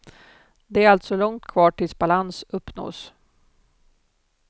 Det är alltså långt kvar tills balans uppnås.